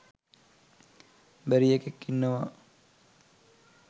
බැරි එකෙක් ඉන්නවා.